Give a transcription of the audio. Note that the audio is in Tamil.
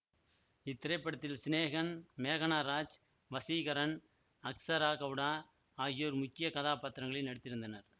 இத்திரைப்படத்தில் சினேகன் மேகனா ராஜ் வசீகரன் அக்சரா கௌடா ஆகியோர் முக்கிய கதாப்பாத்திரங்களில் நடித்திருந்தனர்